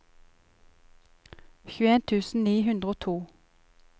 tjueen tusen ni hundre og to